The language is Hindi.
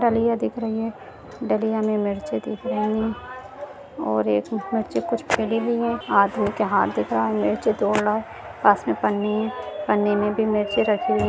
डलिया दिख रही है डलिया में मिर्ची दिख रही है और एक मिर्ची कुछ गली हुई है आदमी के हाथ दिख रहा मिर्ची तोड़ रहा पास में पन्नी है पन्ने में भी मिर्ची रखी हुई है।